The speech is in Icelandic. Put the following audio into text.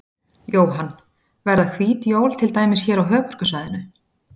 Jóhann: Verða hvít jól til dæmis hér á höfuðborgarsvæðinu?